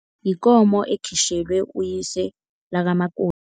Yikomo ekhitjhelwe uyise lakamakoti.